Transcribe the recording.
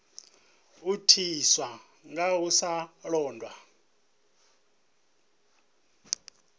itiswa nga u sa londa